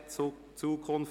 «Zukunft